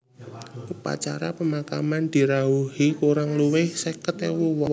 Upacara pemakaman dirawuhi kurang luwih seket ewu wong